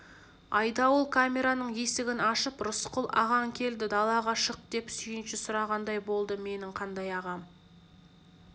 айдауыл камераның есігін ашып рысқұл ағаң келді далаға шық деп сүйінші сұрағандай болды менің қандай ағам